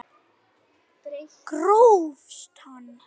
Grófst hann!